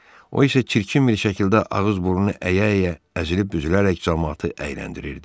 O isə çirkin bir şəkildə ağız-burnu əyə-əyə əzilib büzülərək camaatı əyləndirirdi.